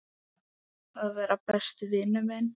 Að vera besti vinur minn.